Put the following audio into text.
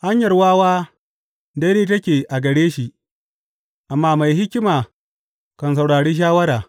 Hanyar wawa daidai take a gare shi, amma mai hikima kan saurari shawara.